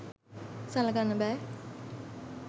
සළකන්න බෑ.